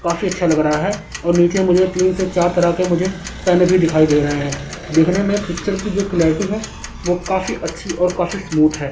काफी अच्छा लग रहा है और नीचे मुझे तीन से चार तरह के मुझे पेन भी दिखाई दे रहे हैं देखने में पिक्चर की जो क्लेरिटी है और काफी अच्छी है और काफी स्मूथ है।